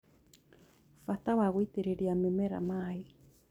Bata wa gũitĩrĩria mĩmera maĩ